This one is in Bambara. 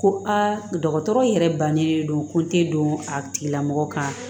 Ko a dɔgɔtɔrɔ yɛrɛ bannen don ko n tɛ don a tigilamɔgɔ kan